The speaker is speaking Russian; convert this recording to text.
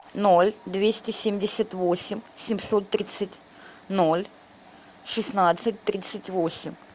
ноль двести семьдесят восемь семьсот тридцать ноль шестнадцать тридцать восемь